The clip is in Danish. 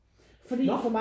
Når?